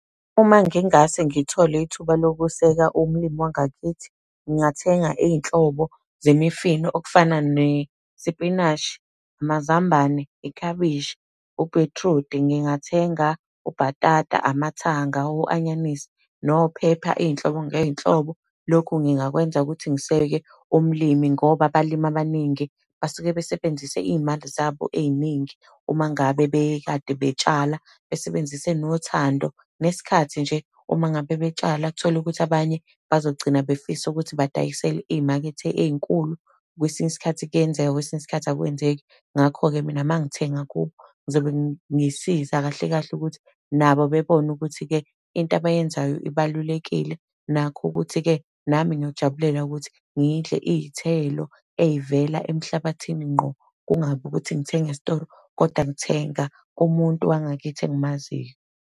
Uma ngingase ngithole ithuba lokuseka umlimi wangakithi, ngingathenga iy'nhlobo zemifino, okufana nesipinashi, amazambane, iklabishi, ubhithrudi. Ngingathenga ubhatata, amathanga, o-anyanisi nophepha, iy'nhlobo ngey'nhlobo. Lokhu ngingakwenza ukuthi ngiseke umlimi ngoba abalimi abaningi basuke besebenzise iy'mali zabo ey'ningi, uma ngabe bekade betshala, besebenzise nothando, nesikhathi nje, uma ngabe betshala. Uthole ukuthi abanye bazogcina befisa ukuthi badayisele iy'makethe ey'nkulu, kwesinye isikhathi kuyenzeka, kwesinye isikhathi akwenzeki. Ngakho-ke mina uma ngithenga kubo, ngizobe ngisiza kahle kahle ukuthi nabo bebone ukuthi-ke, into abayenzayo ibalulekile. Nakho ukuthi-ke, nami ngiyojabulela ukuthi ngidle iy'thelo, ey'vela emhlabathini ngqo, kungabi ukuthi ngithenga esitoro kodwa ngithenga kumuntu wangakithi engimaziyo.